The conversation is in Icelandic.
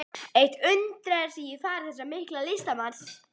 Eitt undraði mig í fari þessa mikla listamanns.